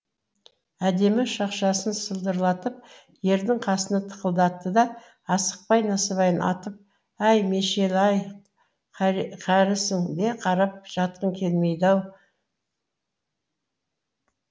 әдемі шақшасын сылдырлатып ердің қасына тықылдатты да асықпай насыбайын атып әй мешел ай қарісең де қарап жатқың келмейді ау